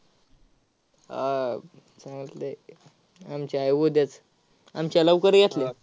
आह चालतंय. आमची आहे उद्याच. आमच्या लवकर ये की.